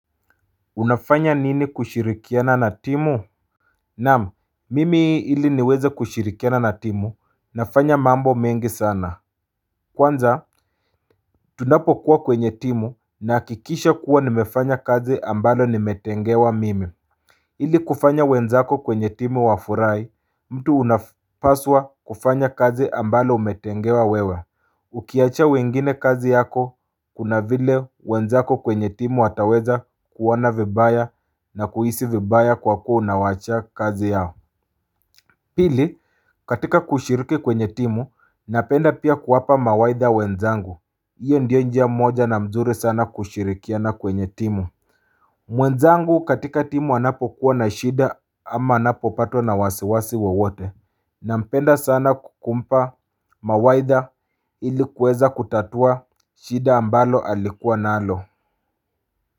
Unafanya nini kushirikiana na timu Naam mimi ili niweze kushirikiana na timu nafanya mambo mengi sana Kwanza, tunapokuwa kwenye timu, ninahakikisha kuwa nimefanya kazi ambayo nimetengewa mimi. Ili kufanya wenzako kwenye timu wafurahi, mtu unafaswa kufanya kazi ambayo ametengewa yeye. Ukiachia wengine kazi yako, kuna vile wenzako kwenye timu wataweza kuona vibaya na kuhisi vibaya kwa kuwa unawaachia kazi yako. Pili, katika kushiriki kwenye timu, napenda pia kuwapa mawaidha wenzangu. Hiyo ndiyo njia moja nzuri sana ya kushirikiana kwenye timu. Mwenzangu katika timu anapokuwa na shida ama anapopatwa na wasiwasi wowote. Nampenda sana kumpa mawaidha. Ilikuweza kutatua shida ambalo alikuwa nalo.